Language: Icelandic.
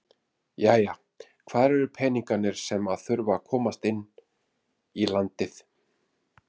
Jæja hvar eru peningarnir sem að þurfa að komast inn í landið?